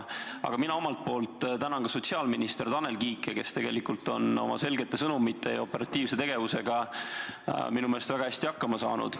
Aga mina omalt poolt tänan sotsiaalminister Tanel Kiike, kes tegelikult on oma selgete sõnumite ja operatiivse tegutsemisega minu meelest väga hästi hakkama saanud.